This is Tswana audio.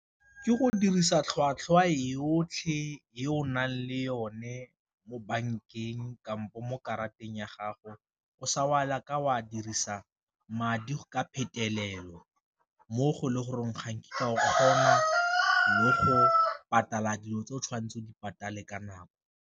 Ke go dirisa tlhwatlhwa e yotlhe e o nang le yone mo bankeng kampo mo karateng ya gago o sa o a dirisa madi ka phetelelo, mo go le goreng ga nkitla kgomo mo go dilo tse o tshwanetseng o di ka nako.